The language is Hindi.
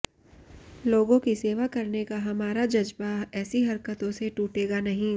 लोगों की सेवा करने का हमारा जज्बा ऐसी हरकतों से टूटेगा नहीं